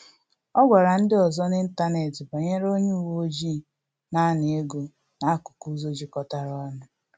Ọ gwara ndị ọzọ n’ịntanetị banyere onye uweojii na-ana ego n’akụkụ ụzọ jikọtara ọnụ